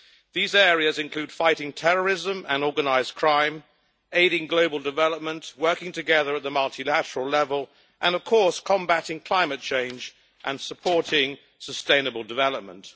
These areas include fighting terrorism and organised crime, aiding global development, working together at the multilateral level, and combating climate change and supporting sustainable development.